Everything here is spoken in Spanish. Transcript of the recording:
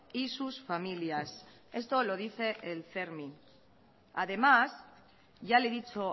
y sus familias esto lo dice el fermi además ya le he dicho